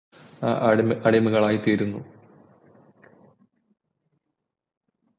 ഏർ അടിമകളായി അടിമകളായി തീരുന്നു